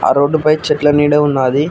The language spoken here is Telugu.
ఆ రోడ్డుపై చెట్ల నీడ ఉన్నది.